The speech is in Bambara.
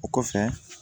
O kɔfɛ